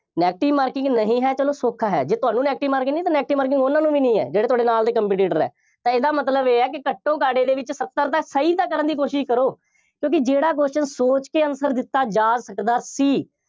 negative marking ਨਹੀਂ ਹੈ, ਚੱਲੋ ਸੌਖਾ ਹੈ। ਜੇ ਤੁਹਾਨੂੰ negative marking ਨਹੀਂ ਤਾਂ negative marking ਉਹਨਾ ਨੂੰ ਵੀ ਨਹੀਂ ਹੈ ਜਿਹੜੇ ਤੁਹਾਡੇ ਨਾਲ ਦੇ competitor ਹੈ, ਤਾਂ ਇਹਦਾ ਮਤਲਬ ਇਹ ਹੈ ਕਿ ਘੱਟੋਂ-ਘੱਟ ਇਹਚੇ ਵਿੱਚ ਸੱਤਰ ਤਾਂ ਸਹੀ ਤਾਂ ਕਰਨ ਦੀ ਕੋਸ਼ਿਸ਼ ਕਰੋ। ਕਿਉਂਕਿ ਜਿਹੜਾ question ਸੋਚ ਕੇ answer ਦਿੱਤਾ ਜਾ ਸਕਦਾ ਸੀ,